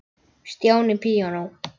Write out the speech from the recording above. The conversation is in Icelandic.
Stjáni píanó